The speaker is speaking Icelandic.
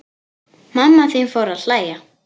Mamma þín fór að hlæja.